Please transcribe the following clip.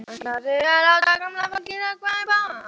Ætlarðu að láta gamla fólkið hrökkva upp af?